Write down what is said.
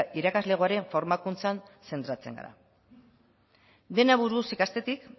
irakaslegoaren formakuntzan zentratzen gara dena buruz ikastetik